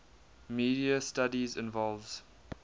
media studies involves